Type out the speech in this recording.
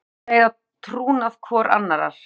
Þær eiga trúnað hvor annarrar.